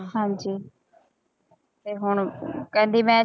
ਹਾਂਜੀ ਤੇ ਹੁਣ ਕਹਿੰਦੀ ਮੈਂ